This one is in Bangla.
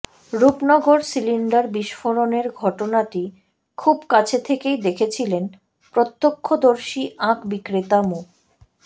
রূপনগর সিলিন্ডার বিস্ফোরণের ঘটনাটি খুব কাছে থেকেই দেখেছিলেন প্রত্যক্ষদর্শী আখ বিক্রেতা মো